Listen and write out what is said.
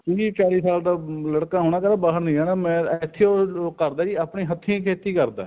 ਤੇਈ ਚੋਵੀ ਸਾਲ ਦਾ ਲੜਕਾ ਹੋਣਾ ਕਹਿੰਦਾ ਬਾਹਰ ਨੀ ਜਾਣਾ ਮੈਂ ਇੱਥੇ ਉਹ ਕਰਦਾ ਸੀ ਆਪਣੀ ਹੱਥੀ ਖੇਤੀ ਕਰਦਾ